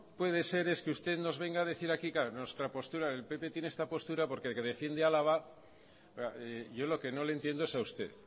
puede ser es que usted nos venga a decir aquí nuestra postura el pp tiene esta postura porque el que defiende álava yo lo que no le entiendo es a usted